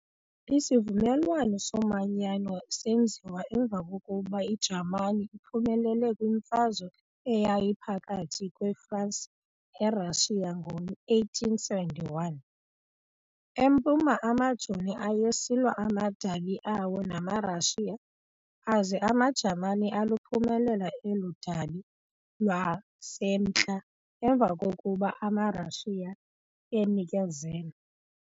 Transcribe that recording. Isivumelwano somanyano senziwa emva kokuba iJamani iphumelele kwiMfazwe eyayiphakathi kwe-Fransi ne-Russia ngo-1871. Empuma amajoni ayesilwa amadabi awo namaRussia aza amaJamani aluphumelela elo dabi lwasemntla emva kokuba amaRussia enikezele.